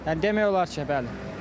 Yəni demək olar ki, bəli.